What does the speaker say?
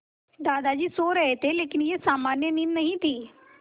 दादाजी सो रहे थे लेकिन यह सामान्य नींद नहीं थी